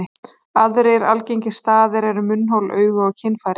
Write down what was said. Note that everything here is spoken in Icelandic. Aðrir algengir staðir eru munnhol, augu og kynfæri.